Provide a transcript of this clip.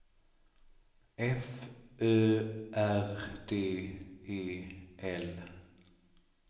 F Ö R D E L